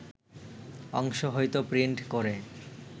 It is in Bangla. অংশ হয়তো প্রিন্ট করে